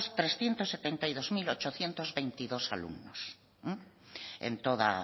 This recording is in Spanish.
trescientos setenta y dos mil ochocientos veintidós alumnos